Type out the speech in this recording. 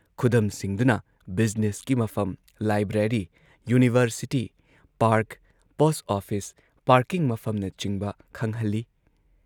ꯈꯨꯗꯝꯁꯤꯡꯗꯨꯅ ꯕꯤꯖꯤꯅꯦꯁꯀꯤ ꯃꯐꯝ, library, university, park, post office, parking ꯃꯐꯝꯅꯆꯤꯡꯕ ꯈꯪꯍꯜꯂꯤ ꯫